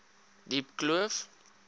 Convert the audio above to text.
diepkloof